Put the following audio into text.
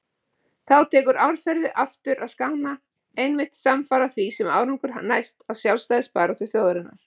Þá tekur árferði aftur að skána, einmitt samfara því sem árangur næst af sjálfstæðisbaráttu þjóðarinnar.